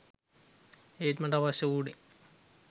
ඒත් මට අවශ්‍ය වුණේ